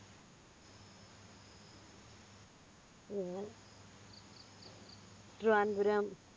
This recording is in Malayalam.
ഞാൻ